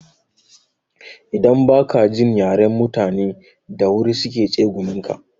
Idan ba ka jin yaren mutani da wuri su ke tsegumin ka.